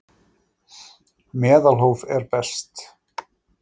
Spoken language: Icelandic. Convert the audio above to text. Meðalhóf er best.